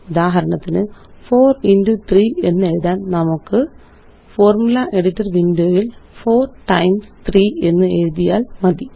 ഉദാഹരണത്തിന്4 into 3 എന്നെഴുതാന് നമുക്ക്Formula editor window യില്4 ടൈംസ് 3 എന്നെഴുതിയാല് മതി